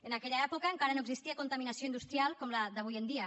en aquella època encara no existia contaminació industrial com la d’avui en dia